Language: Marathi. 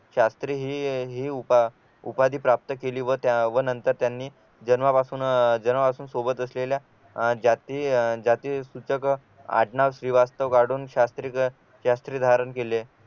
शास्त्री ही ही उपाधी प्राप्त केली व नंतर त्यांनी जन्मापासून अह जन्मापासून सोबत असलेल्या जाती जाती सुचक आडनाव श्रीवास्तव काढून शास्त्री शास्त्री धारण केले